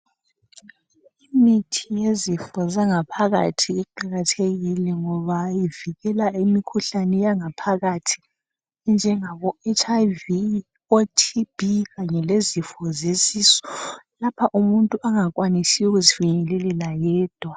Imithi yezifo zangaphakathi iqakathekile ngoba ivikela imikhuhlane yangaphakathi enjengabo HIV, o TB, kanye lezifo zesisu lapha umuntu angakwanisi ukuzifinyelelela yedwa.